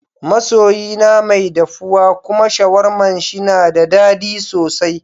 Ma soyi na mai daffuwa kuma sharwaman shi na da dadi sosai.